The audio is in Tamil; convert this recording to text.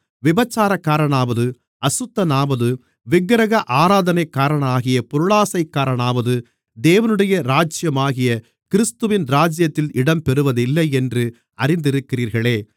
விபசாரக்காரனாவது அசுத்தனாவது விக்கிரக ஆராதனைக்காரனாகிய பொருளாசைக்காரனாவது தேவனுடைய ராஜ்யமாகிய கிறிஸ்துவின் ராஜ்யத்திலே இடம் பெறுவதில்லையென்று அறிந்திருக்கிறீர்களே